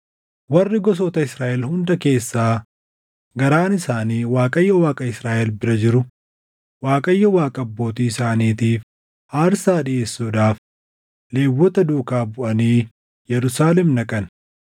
Warri gosoota Israaʼel hunda keessaa garaan isaanii Waaqayyo Waaqa Israaʼel bira jiru Waaqayyo Waaqa abbootii isaaniitiif aarsaa dhiʼeessuudhaaf Lewwota duukaa buʼanii Yerusaalem dhaqan.